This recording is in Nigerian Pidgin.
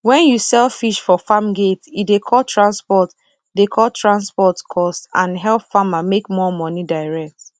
when you sell fish for farm gate e dey cut transport dey cut transport cost and help farmer make more money direct